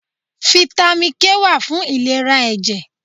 Fítámì K wà fún ìlera ẹ̀jẹ̀.